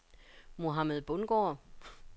Mohamed Bundgaard